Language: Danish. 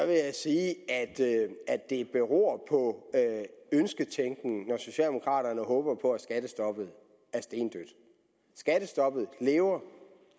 jeg sige at det beror på ønsketænkning når socialdemokraterne håber på at skattestoppet er stendødt skattestoppet lever